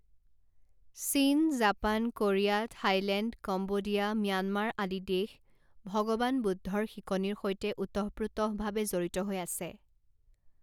চীন, Japan, Korea, Thailand, Cambodia, Myanmar আদি দেশ ভগবান বুদ্ধৰ শিকনিৰ সৈতে ওতঃপ্ৰোতঃভাৱে জড়িত হৈ আছে।